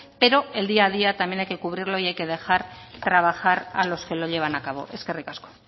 pero el día a día también hay que cubrirlo y hay que dejar trabajar a los que lo llevan a cabo eskerrik asko